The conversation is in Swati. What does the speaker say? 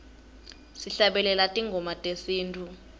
sihlabelele tingoma tesintfu